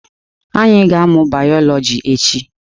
Anyị ga-amụ bayọlọji echi.